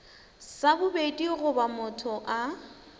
sa bobedi goba motho a